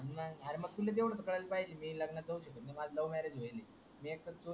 अरे मग तुले तेवड तर कळायाला पाहिजे मी लग्नात जाउच शकत नाही, माझ love marriage व्हायल